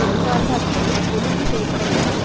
அறிவார்ந்த அடிப்படையில் ஒழுங்கு செய்ய பட வேண்டும்